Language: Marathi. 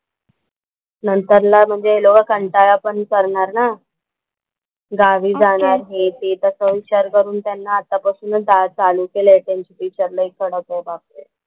नंतर न म्हणजे लोकं कंटाळा पण करणार ना गावी जाणार हे ते. तसा विचार करून त्यांना आता पासूनच चालू केलाय त्यांची टीचर लई कडक आहे बापरे.